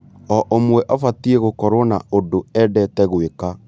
O ũmwe abatie gũkorwo na ũndũ endete gwĩka.